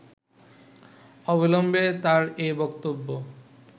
অবিলম্বে তার এ বক্তব্য